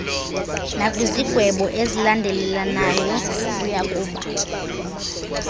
nakwizigwebo ezilandelelanayo uyakuba